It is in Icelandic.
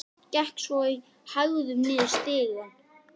Gekk svo í hægðum mínum niður stigann.